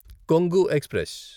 Kongu express